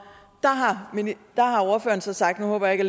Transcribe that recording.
ordføreren så sagt nu håber jeg ikke